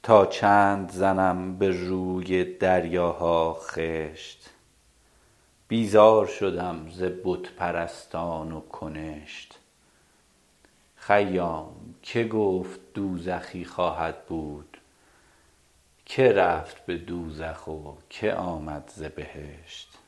تا چند زنم به روی دریاها خشت بیزار شدم ز بت پرستان و کنشت خیام که گفت دوزخی خواهد بود که رفت به دوزخ و که آمد ز بهشت